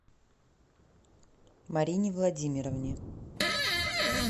марине владимировне